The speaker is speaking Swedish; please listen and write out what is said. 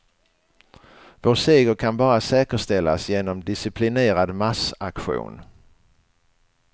Vår seger kan bara säkerställas genom disciplinerad massaktion.